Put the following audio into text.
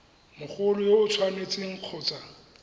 mogolo yo o tshwanetseng kgotsa